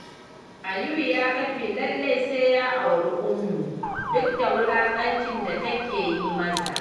Aliyu ya kafe lallai sai ya auri Ummu duk da wulaƙancin da take yi masa